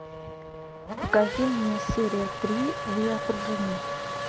покажи мне серия три вы окружены